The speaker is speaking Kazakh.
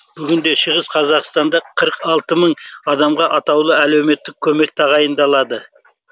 бүгінде шығыс қазақстанда қырық алты мың адамға атаулы әлеуметтік көмек тағайындалады